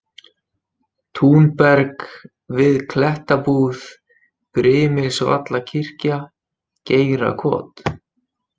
Túnberg, Við Klettabúð, Brimilsvallakirkja, Geirakot